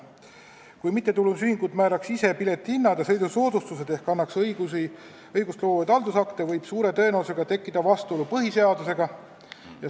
Kui mittetulundusühingud määraks ise piletihindu ja sõidusoodustusi ehk annaks õigustloovaid haldusakte, võib suure tõenäosusega tekkida vastuolu põhiseadusega.